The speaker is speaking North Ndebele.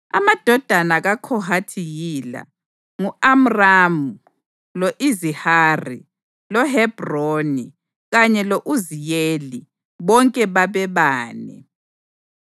Amadodana kaKhohathi yila: ngu-Amramu, lo-Izihari, loHebhroni kanye lo-Uziyeli, bonke babebane.